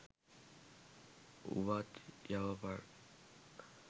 උවත් යවපන්